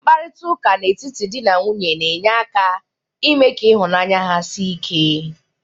Mkparịtaụka n'etiti dị na nwunye na-enye aka ime ka ịhụnanya ha sie ike.